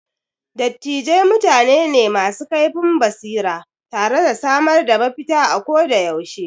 Dattijai mutane ne masu kaifin basira tare da samar da mafita ako da yaushe.